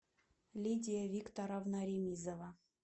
лидия викторовна ремизова